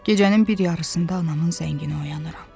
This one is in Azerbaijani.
Gecənin bir yarısında anamın zənginə oyanıram.